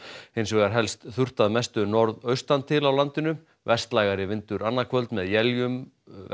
hins vegar helst þurrt að mestu norðaustan til á landinu vestlægari vindur annað kvöld með éljum vestan